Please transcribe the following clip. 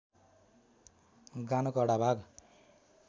गानो कडा भाग